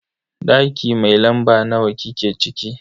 Daki mai lamba nawa kike ciki?